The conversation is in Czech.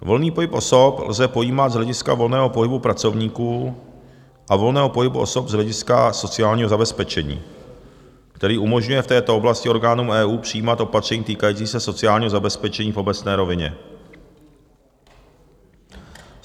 Volný pohyb osob lze pojímat z hlediska volného pohybu pracovníků a volného pohybu osob z hlediska sociálního zabezpečení, který umožňuje v této oblasti orgánům EU přijímat opatření týkající se sociálního zabezpečení v obecné rovině.